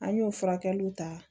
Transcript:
An y'o furakɛliw ta